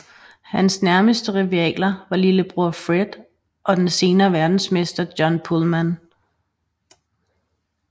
Hans nærmeste rivaler var lillebror Fred og den senere verdensmester John Pulman